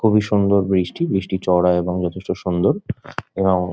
খুবই সুন্দর ব্রিজ টি ব্রিজ টি চওড়া এবং যথেষ্ট সুন্দর এবং--